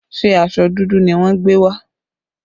Ṣé aṣọ dúdú ni wọ́n gbé wá?